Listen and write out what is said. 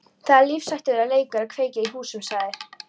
Það er lífshættulegur leikur að kveikja í húsum sagði